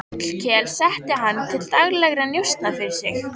Hallkel setti hann til daglegra njósna fyrir sig.